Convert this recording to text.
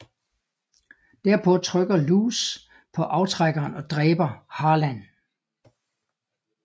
Derpå trykker Louse på aftrækkeren og dræber Harlan